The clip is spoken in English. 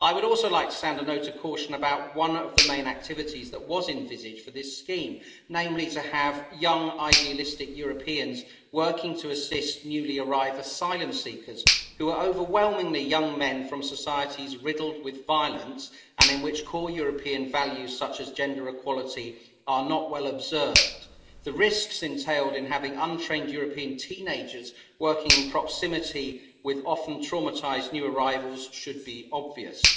I would also like to sound a note of caution about one of the main activities that was envisaged for this scheme, namely to have young, idealistic Europeans working to assist newly arrived asylum seekers, who are overwhelmingly young men from societies riddled with violence and in which core European values such as gender equality are not well observed. The risks entailed in having untrained European teenagers working in proximity with often traumatised new arrivals should be obvious.